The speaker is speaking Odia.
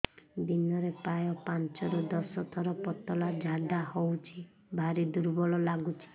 ଦିନରେ ପ୍ରାୟ ପାଞ୍ଚରୁ ଦଶ ଥର ପତଳା ଝାଡା ହଉଚି ଭାରି ଦୁର୍ବଳ ଲାଗୁଚି